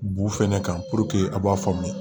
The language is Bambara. Bu fɛnɛ kan a b'a faamuya